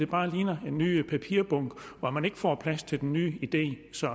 bare ligner en ny papirbunke hvor man ikke får plads til den nye idé så